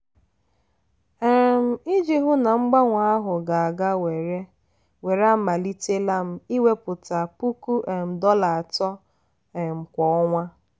um iji hụ na mgbanwe ahụ ga-aga were were amalitela m iwepụta puku um dollar atọ um kwa ọnwa.